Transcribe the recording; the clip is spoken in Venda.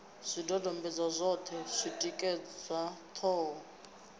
zwidodombedzwa zwoṱhe zwi tikedza ṱhoho